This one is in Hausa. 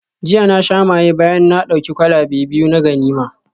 Jiya na sha maye bayan na dauki kwalabe biyu na ganima